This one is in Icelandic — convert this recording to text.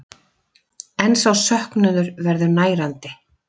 En sá söknuður verður nærandi.